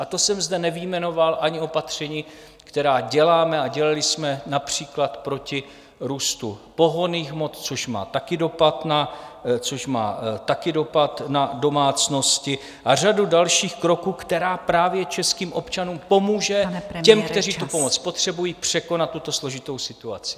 A to jsem zde nevyjmenoval ani opatření, která děláme a dělali jsme například proti růstu pohonných hmot, což má taky dopad na domácnosti, a řadu dalších kroků, které právě českým občanům pomůže , těm, kteří tu pomoc potřebují, překonat tuto složitou situaci.